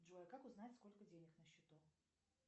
джой а как узнать сколько денег на счету